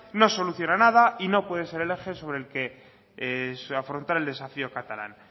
no soluciona nada y no puede ser el eje sobre el que afrontar el desafío catalán